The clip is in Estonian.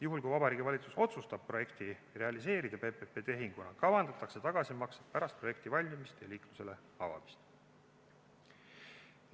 Juhul kui Vabariigi Valitsus otsustab projekti realiseerida PPP-tehinguna, kavandatakse tagasimaksed pärast projekti valmimist ja liiklusele avamist.